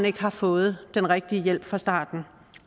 ikke har fået den rigtige hjælp fra staten